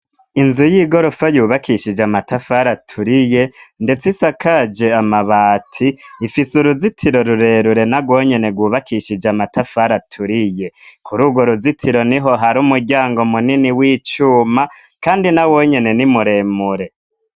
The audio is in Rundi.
Inzu yigorofa yubakishije amatafari aturiye ndetse isakaje amabati ifise uruzitiro rurerure narwo nyene rwubakishije amatafari aturiye, kuri urwo ruzitiro niho hari umuryango munini w'icuma kandi nawo nyene ni muremure.